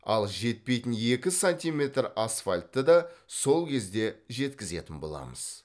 ал жетпейтін екі сантиметр асфальтты да сол кезде жеткізетін боламыз